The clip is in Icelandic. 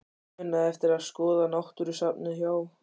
Muna eftir að skoða náttúrusafnið hjá